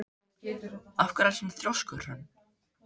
Af hverju ertu svona þrjóskur, Hrönn?